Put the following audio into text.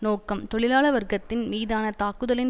நோக்கம் தொழிலாள வர்க்கத்தின் மீதான தாக்குதலின்